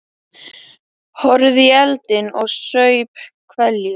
Horfði í eldinn og saup hveljur.